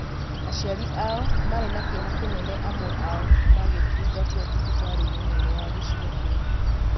aciari ao marĩ na kĩeha kĩnene amwe ao magĩtungatwo thibitarĩ-inĩ nene ya gĩcigo kĩu.